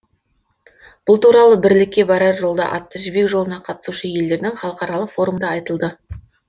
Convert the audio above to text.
бұл туралы бірлікке барар жолда атты жібек жолына қатысушы елдердің халықаралық форумында айтылды